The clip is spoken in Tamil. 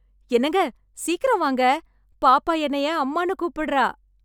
என்னங்க, சீக்கிரம் வாங்க பாப்பா என்னய அம்மான்னு கூப்பிடறா.